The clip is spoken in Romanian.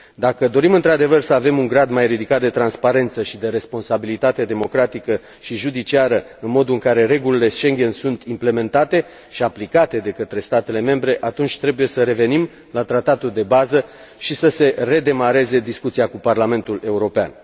Dacă dorim într adevăr să avem un grad mai ridicat de transparență și de responsabilitate democratică și judiciară în modul în care regulile Schengen sunt implementate și aplicate de către statele membre, atunci trebuie să revenim la tratatul de bază și să se redemareze discuția cu Parlamentul European.